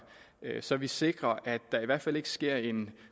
så vi sikrer at der i hvert fald ikke sker en